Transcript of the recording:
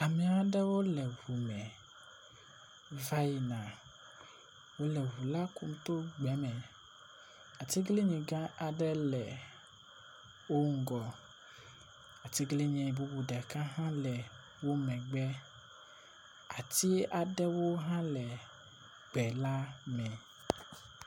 Amea aɖewo le ŋu me va yina, wole ŋu la kum to gbe me. Atiglinyi gã aɖe le wo ŋgɔ, atiglinyi bubu ɖeka hã le wo megbe. Ati aɖewo hã le gbe la me.